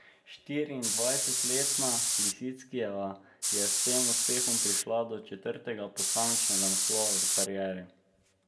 Štiriindvajsetletna Lisickijeva je s tem uspehom prišla do četrtega posamičnega naslova v karieri.